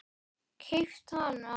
Keypt hana?